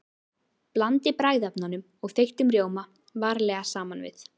Blandið bragðefnum og þeyttum rjóma varlega saman við.